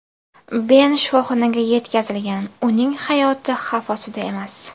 Ben shifoxonaga yetkazilgan, uning hayoti xavf ostida emas.